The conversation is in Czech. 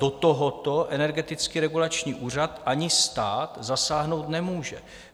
Do tohoto Energetický regulační úřad ani stát zasáhnout nemůžou.